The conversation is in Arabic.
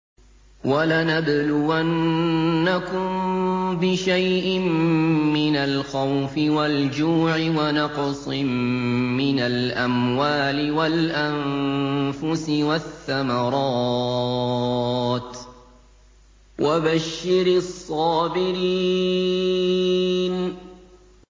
وَلَنَبْلُوَنَّكُم بِشَيْءٍ مِّنَ الْخَوْفِ وَالْجُوعِ وَنَقْصٍ مِّنَ الْأَمْوَالِ وَالْأَنفُسِ وَالثَّمَرَاتِ ۗ وَبَشِّرِ الصَّابِرِينَ